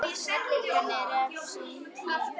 Hann er refsing mín.